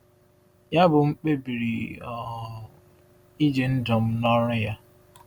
Yabụ m kpebiri um iji ndụ m na ọrụ ya.